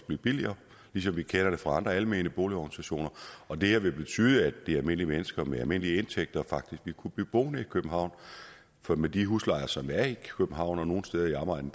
blive billigere ligesom vi kender det fra andre almene boligorganisationer og det her vil betyde at almindelige mennesker med almindelige indtægter faktisk vil kunne blive boende i københavn for med de huslejer som er i københavn og nogle steder i omegnen